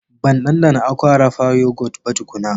Ban ɗanɗana Aqua Rafha yogurt ba tukuna